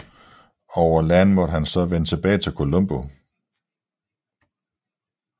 Over land måtte han så vende tilbage til Colombo